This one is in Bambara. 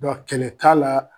Dɔ kɛlɛ t'a la